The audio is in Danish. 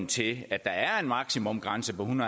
til at der er en maksimumgrænse på en